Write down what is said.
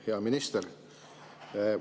Hea minister!